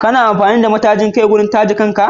Kana amfani da matajin kai wurin taje kan ka?